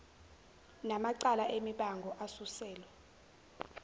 namacala emibango asuselwa